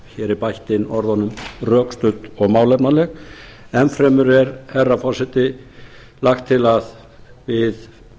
er bætt inn orðunum rökstudd og málefnaleg enn fremur er herra forseti lagt til að við